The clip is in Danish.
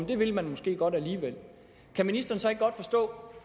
det vil man måske godt alligevel kan ministeren så ikke godt forstå